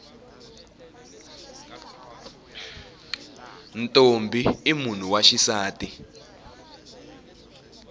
ntombhi i munhu wa xisati